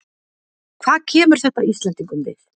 Hvað kemur þetta Íslendingum við?